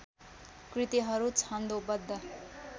कृतिहरू छन्दोबद्ध